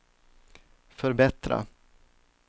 förbättra